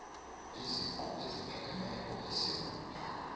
iziqu eziphakemeko esewula